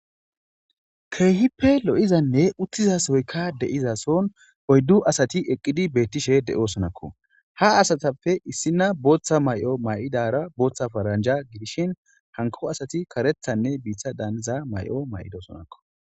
Keehippe lo7izanne uttizasoykka deizason oyddu asati eqqidi beettishe de7osonakko ha asatappe issina booththa may7o may7idara booththa faranja gidishin hanko asati karethanne biitha daaniza may7o may7idoosonakko.